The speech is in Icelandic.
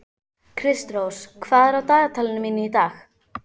Kristrós, hvað er á dagatalinu mínu í dag?